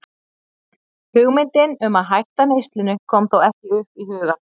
Hugmyndin um að hætta neyslunni kom þó ekki upp í hugann.